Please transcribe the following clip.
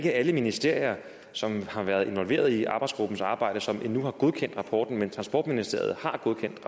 er alle ministerier som har været involveret i arbejdsgruppens arbejde som endnu har godkendt rapporten men transportministeriet har godkendt